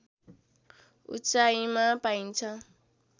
उचाइमा पाइन्छ